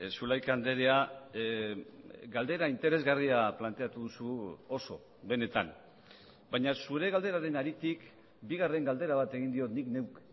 zulaika andrea galdera interesgarria planteatu duzu oso benetan baina zure galderaren haritik bigarren galdera bat egin diot nik neuk